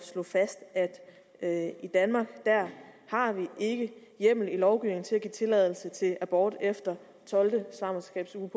slå fast at i danmark har vi ikke i hjemmel i lovgivningen til at give tilladelse til abort efter tolvte svangerskabsuge